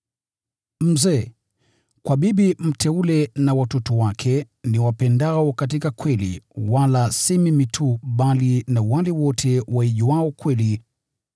Mzee: Kwa bibi mteule na watoto wake, niwapendao katika kweli, wala si mimi tu, bali na wale wote waijuayo kweli: